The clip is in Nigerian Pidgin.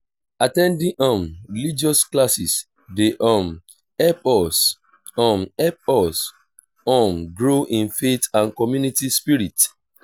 at ten ding um religious classes dey um help us um help us um grow in faith and community spirit.